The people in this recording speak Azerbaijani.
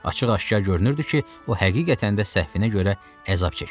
Açıq-aşkar görünürdü ki, o həqiqətən də səhvinə görə əzab çəkir.